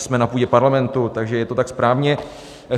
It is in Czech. Jsme na půdě Parlamentu, takže je to tak správně.